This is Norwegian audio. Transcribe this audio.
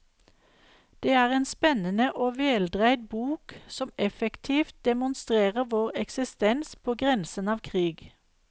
Det er en spennende og veldreid bok som effektivt demonstrerer vår eksistens på grensen av krig.